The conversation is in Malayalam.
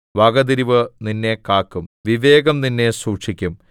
വകതിരിവ് നിന്നെ കാക്കും വിവേകം നിന്നെ സൂക്ഷിക്കും